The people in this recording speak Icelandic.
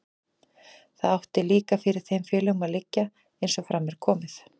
Það átti líka fyrir þeim félögunum að liggja, eins og fram er komið.